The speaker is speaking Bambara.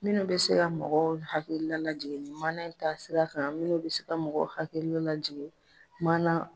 Minnu bɛ se ka mɔgɔw hakilila lajigin ni maana in taasira kan minnu bɛ se ka mɔgɔw hakilila lajigin maana